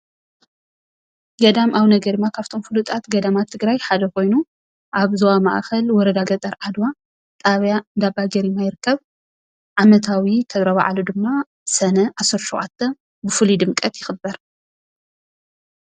ገዳም አቡነ ገሪማ ካፍቶም ፍሉጣት ገዳማት ትግራይ ሓደ ኮይኑ አብ ዞባ ማእከል ወረዳ ገጠር ዓድዋ ጣብያ እንዳባገሪማ ይርከብ። ዓመታዊ ተራ በዓሉ ድማ ሰነ 17 ብፍሉይ ድምቀት ይክበር።